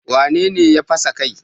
Wane ne ya fasa kai?